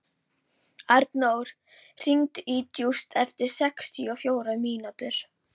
Arnór, hringdu í Júst eftir sextíu og fjórar mínútur.